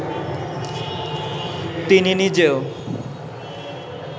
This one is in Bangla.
তিনি নিজেও